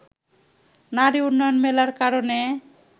নারী উন্নয়ন মেলার কারণে